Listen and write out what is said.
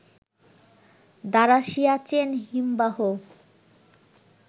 দ্বারা সিয়াচেন হিমবাহ